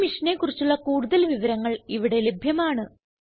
ഈ മിഷനെ കുറിച്ചുള്ള കുടുതൽ വിവരങ്ങൾ ഇവിടെ ലഭ്യമാണ്